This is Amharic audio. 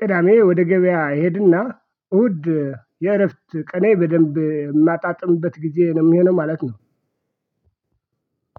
ቅዳሜ ወደ ገበያ እሄድና እሁድ የእረፍት ቀኔ በደንብ የማጣጥምበት ጊዜ ነው የሚሆነው ማለት ነው።